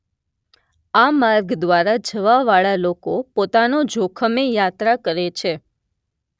આ માર્ગ દ્વારા જવા વાળા લોકો પોતાના જોખમે યાત્રા કરે છે